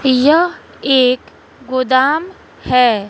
यह एक गोदाम है।